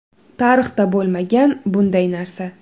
Tarixda bo‘lmagan bunday narsa.